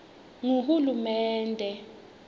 nguhulumende